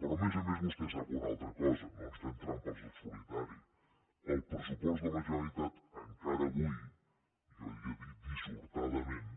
però a més a més vostè sap una altra cosa no ens fem trampes al solitari el pressupost de la generalitat encara avui jo ja dic dissortadament